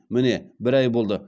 міне бір ай болды